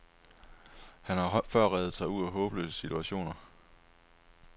Han har før reddet sig ud af håbløse situationer.